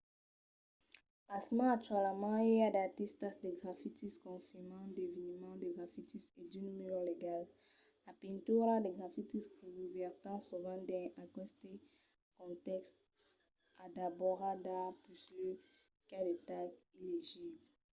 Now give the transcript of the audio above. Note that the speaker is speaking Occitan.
pasmens actualament i a d'artistas de grafitis confirmats d'eveniments de grafitis e d'unes murs legals". las pinturas de grafitis revèrtan sovent dins aqueste contèxt a d'òbras d'art puslèu qu'a de tags illegibles